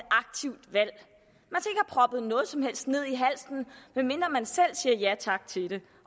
proppet noget som helst ned i halsen medmindre man selv siger ja tak til det